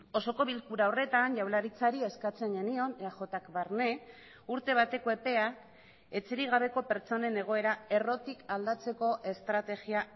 osoko bilkura horretan jaurlaritzari eskatzen genion eajk barne urte bateko epea etxerik gabeko pertsonen egoera errotik aldatzeko estrategia